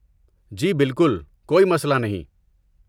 جی بالکل، کوئی مسئلہ نہیں۔